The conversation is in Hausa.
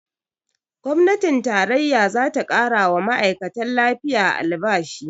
Gwamnatin tarayya zata ƙarawa ma'aikatan lafiya albashi